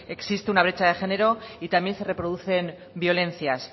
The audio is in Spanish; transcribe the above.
existe una brecha de género y también se reproducen violencias